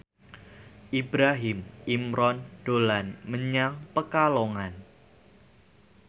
Ibrahim Imran dolan menyang Pekalongan